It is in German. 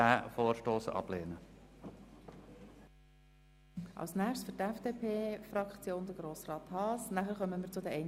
Aber das Volk wollte es nicht, und das hier ist einfach eine Zwängerei.